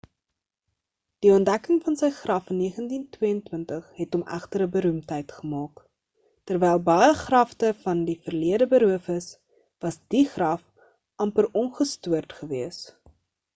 die ontdekking van sy graf in 1922 het hom egter 'n beroemdheid gemaak terwyl baie grafte van die verlede beroof is was die graf amper ongestoord gewees